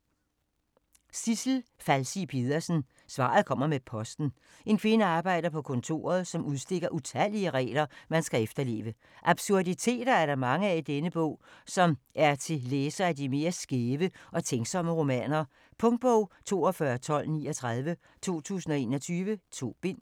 Falsig Pedersen, Sidsel: Svaret kommer med posten En kvinde arbejder på kontoret, som udstikker utallige regler, man skal efterleve. Absurditeter er der mange af i denne bog, som er til læsere af de mere skæve og tænksomme romaner. Punktbog 421239 2021. 2 bind.